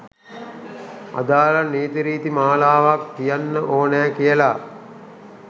අදාළ නීතිරීති මාලාවක් තියෙන්න ඕනෑ කියලා.